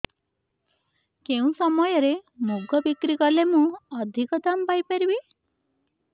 କେଉଁ ସମୟରେ ମୁଗ ବିକ୍ରି କଲେ ମୁଁ ଅଧିକ ଦାମ୍ ପାଇ ପାରିବି